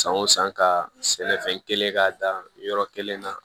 San o san ka sɛnɛfɛn kelen k'a dan yɔrɔ kelen na